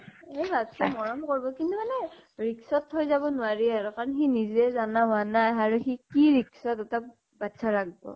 এই ভাবচোন মৰম কৰিব। কিন্তু মানে risk ত থৈ যাব নোৱাৰি আৰু । কাৰণ সি নিজেই জানা হোৱা নাই আৰু সি । কি risk ত দুটা বাচ্ছা ৰাখব ।